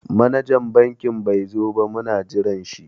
Manajan banki bai zo ba muna jiran shi.